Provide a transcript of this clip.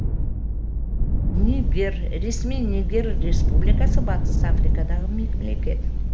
нигер ресми нигер республикасы батыс африкадағы мемлекет